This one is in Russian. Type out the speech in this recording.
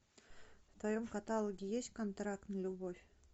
в твоем каталоге есть контракт на любовь